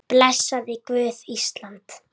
Blessaði Guð Ísland?